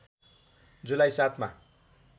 जुलाई ७ मा